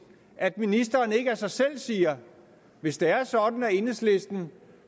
at ministeren ikke af sig selv siger hvis det er sådan at enhedslisten